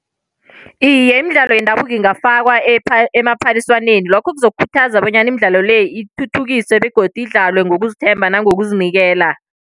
Iye, imidlalo yendabuko ingafakwa emaphaliswaneni. Lokho kuzokhuthaza bonyana imidlalo le ithuthukiswe, begodu idlalwe ngokuzithemba nangokuzinikela.